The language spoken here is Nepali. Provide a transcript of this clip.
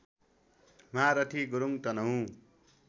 महारथी गुरुङ तनहुँ